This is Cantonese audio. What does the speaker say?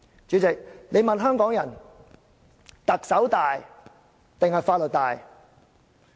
主席，如果你問香港人：特首大還是法律大？